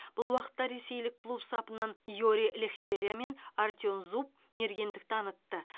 бұл уақытта ресейлік клуб сапынан йори лехтеря мен артем зуб мергендік танытты